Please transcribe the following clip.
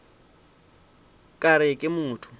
ka re ke a motho